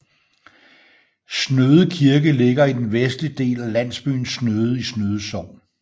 Snøde Kirke ligger i den vestlige del af landsbyen Snøde i Snøde Sogn